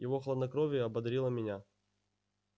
его хладнокровие ободрило меня